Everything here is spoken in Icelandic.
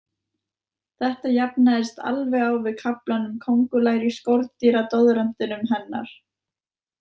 Þetta jafnaðist alveg á við kaflann um kóngulær í skordýradoðrantinum hennar.